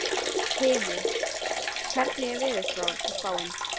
Hymir, hvernig er veðurspáin?